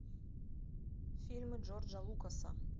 фильмы джорджа лукаса